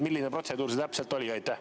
Milline protseduur see täpselt oli?